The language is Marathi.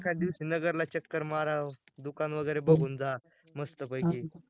एखाद दिवशी नगरला चक्कर माराव, दुकान वगैरे बगून जा, मस्त पैकी